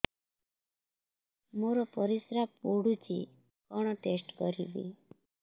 ମୋର ପରିସ୍ରା ପୋଡୁଛି କଣ ଟେଷ୍ଟ କରିବି